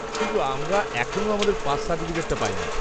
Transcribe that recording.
কিন্তু আমরা এখনো আমাদের পাস সার্টিফিকেটটা পাইনি।